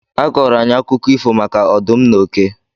A kọọrọ anyị akụkọ ifo maka ọdụm na oke.